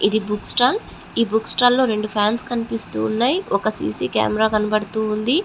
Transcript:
ఇది book stall ఈ book stall లో రెండు ఫాన్స్ కనిపిస్తూ ఉన్నాయ్ ఒక సి_సి కెమెరా కనబడుతూ ఉంది.